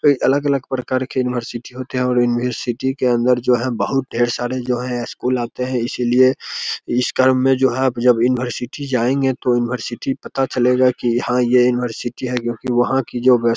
कई अलग-अलग प्रकार के यूनिवर्सिटी होती है और यूनिवर्सिटी के अन्दर जो है बोहोत ढेर सारे जो है स्कूल आते हैं। इसलिए इस क्रम मे जो है जब यूनिवर्सिटी जायेंगे तो यूनिवर्सिटी पता चलेगा की यहां ये यूनिवर्सिटी है। क्योकि वहाँ की जो --